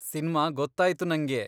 Cinema ಗೊತ್ತಾಯ್ತು ನಂಗೆ.